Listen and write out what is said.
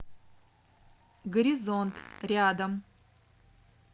горизонт рядом